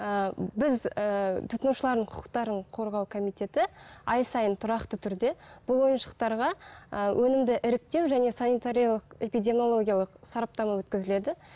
ііі біз ііі тұтынушылардың құқықтарын қорғау комитеті ай сайын тұрақты түрде бұл ойыншықтарға і өнімді іріктеу және санитариялық эпидемиологиялық сараптама өткізіледі